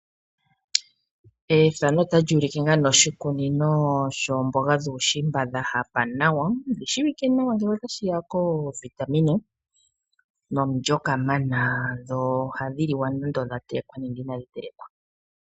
Ethano otali ulike oshikunino lyeemboga dhuushimba dha hapa nawa ,odhi shiwike nawa ngo otashiya koovitamine nomulyo kamana dho ohadhi liwa nando odha telekwa nenge inadhi telekwa.